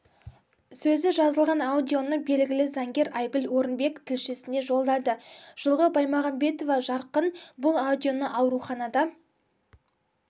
сөзі жазылған аудионы белгілі заңгер айгүл орынбек тілшісіне жолдады жылғы баймағамбетова жарқын бұл аудионы ауруханада